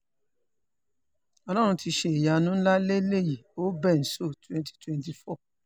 ọlọ́run ti ṣe é ìyanu ńlá lélẹ́yìí o benzo twenty twenty four